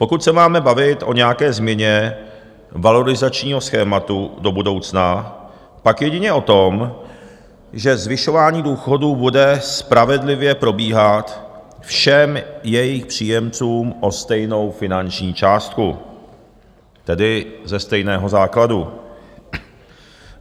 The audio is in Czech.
Pokud se máme bavit o nějaké změně valorizačního schématu do budoucna, pak jedině o tom, že zvyšování důchodů bude spravedlivě probíhat všem jejich příjemcům o stejnou finanční částku, tedy ze stejného základu.